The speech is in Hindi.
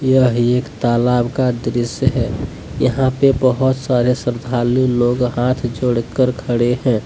यह एक तालाब का दृस्य है। यहां पे बहुत सारे श्रद्धालु लोग हाथ जोड़कर खड़े हैं।